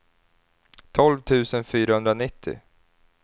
tolv tusen fyrahundranittio